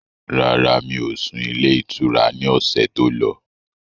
Rárá, mi ò sún ilé ìtura ni ọ̀sẹ̀ tó lọ